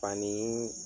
Fani